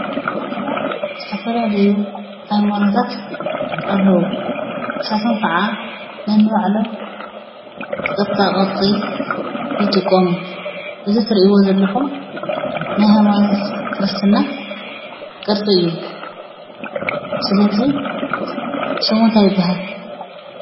ዓድና ዝተፈላለዩ ሃይማኖታት ኣለዉ። ንሳቶም ክዓ ነንባዕሎም ቅርፃ-ቅርፂ ይጥቀሙ። እዚ ትሪእዎ ዘለኹም ናይ ሃይማኖት ክርስትና ቅርፂ እዩ። ስለዚ ሽሙ እንታይ ይብሃል?